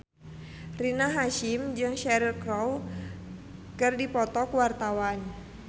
Rina Hasyim jeung Cheryl Crow keur dipoto ku wartawan